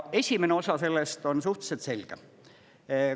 Esimene osa sellest on suhteliselt selge.